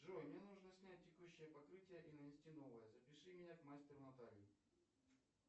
джой мне нужно снять текущее покрытие и нанести новое запиши меня к мастеру наталье